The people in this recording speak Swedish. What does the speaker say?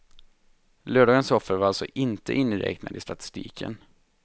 Lördagens offer var alltså inte inräknade i statistiken.